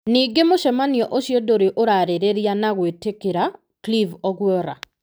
Ningĩ mũcemanio ũcio ndũrĩ ũrarĩrĩria na gwĩtĩkĩra Clive Ogwora.